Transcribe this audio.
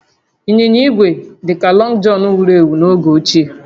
Ịnyịnya igwe dị ka Lọngụ Jọnụ wuru ewu n'oge ochie